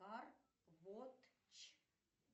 арботч